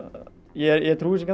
ég trúi þessu